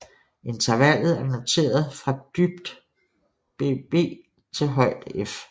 Intervalet er noteret fra dybt bbBb til højt F